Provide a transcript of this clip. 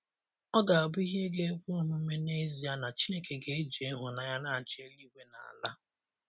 Ọ̀ ga abụ ihe ga ekwe omume n’ezie na Chineke ga eji ịhụnanya na - achị eluigwe na ala?